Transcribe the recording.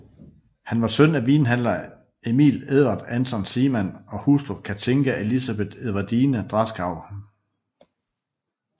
Han var søn af vinhandler Emil Edvard Anton Seemann og hustru Cathinka Elisabeth Edvardine Draskau